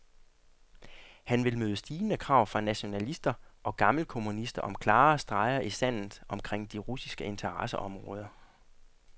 Han vil møde stigende krav fra nationalister og gammelkommunister om klare streger i sandet omkring de russiske interesseområder.